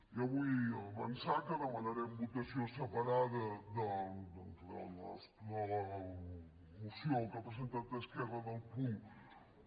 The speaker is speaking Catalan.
jo vull avançar que demanarem votació separada doncs en la moció que ha presentat esquerra del punt un